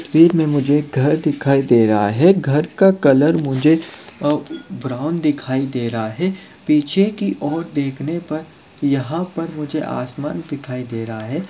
बीच में मुझे एक घर दिखाई दे रहा है घर का कलर मुझे अ-ब्राउन दिखाई दे रहा है पीछे कि ओर देखने पर यहाँ पर मुझे आसमान दिखाई दे रहा है।